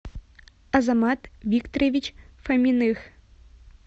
азамат викторович фоминых